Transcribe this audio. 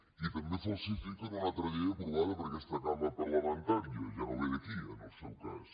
i també falsifiquen una altra llei aprovada per aques·ta cambra parlamentària ja no ve d’aquí en el seu cas